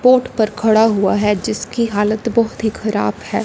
Port पर खड़ा हुआ है जिसकी हालत बहुत ही खराब है।